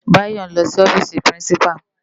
Bayo n lò si òfisi pirinsipá